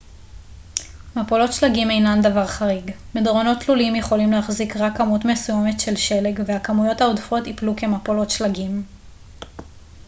מפולות שלגים אינן דבר חריג מדרונות תלולים יכולים להחזיק רק כמות מסוימת של שלג והכמויות העודפות יפלו כמפולות שלגים